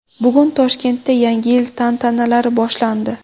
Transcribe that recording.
Bugun Toshkentda Yangi yil tantanalari boshlandi.